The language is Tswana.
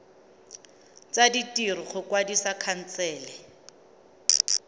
tsa ditiro go kwadisa khansele